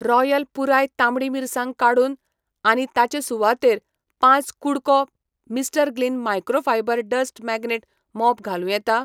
Royal पुराय तांबडी मिरसांग काडून आनी ताचे सुवातेर पाच कु़डको Mister Gleam microfibre dust magnet mop घालूं येता?